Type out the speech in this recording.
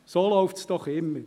So läuft es doch immer.